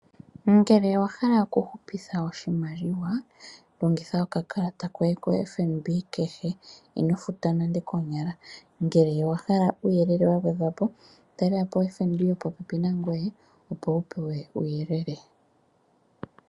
Ngele owahala oku hupitha oshimaliwa longitha okakalata koye koFNB kehe ino futa nande koonyala ngele owahala uuyelele wagwedhwa po talela po oFNB yo po pepi nangwe opo wupewe uuyelele.